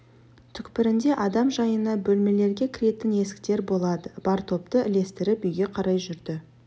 түкпірінде адам жайына бөлмелерге кіретін есіктер болады бар топты ілестіріп үйге қарай жүрді